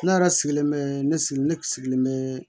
Ne yɛrɛ sigilen bɛ ne sigi ne sigilen bɛ